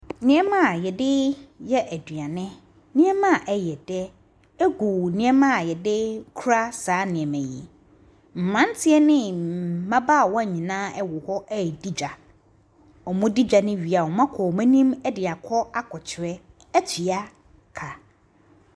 Nneɛma yɛdi yɛ aduane nneɛma ɛyɛ dɛ ɛgu nneɛma yɛdi kura saa nneɛma yɛ mmaranteɛ ne mmabawa nyinaa ɛwɔ hɔ di dwa ɔmɔ di dwa no wie ɔmɔ akɔ wɔn anim ɛdi akɔ akyerɛ at tua ka.